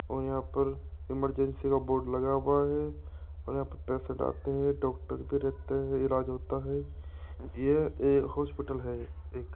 और यहां पर एमरजेंसी का बोर्ड लगा हुआ है और यहां पर पेशेंट हैं डॉक्टर भी रहते हैं इलाज होता है यह एक हॉस्पिटल है एक।